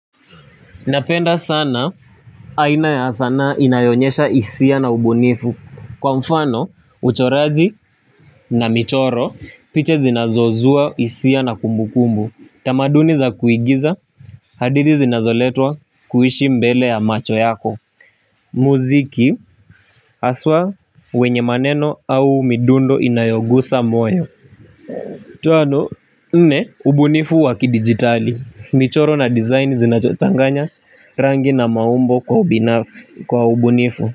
Napenda sana ana ya sanaa inayo onyesha hisia na ubunifu. Kwa mfano, uchoraji na michoro picha zinazozua hisia na kumbukumbu. Tamaduni za kuigiza. Hadithi zinazoletwa kuishi mbele ya macho yako. Muziki haswa wenye maneno au midundo inayogusa moyo. Tano, nne, ubunifu wakidijitali. Michoro na design zinachonganya rangi na maumbo kwa ubunifu.